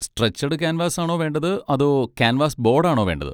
Stretched canvas ആണോ വേണ്ടത് അതോ ക്യാൻവാസ് ബോഡ് ആണോ വേണ്ടത്?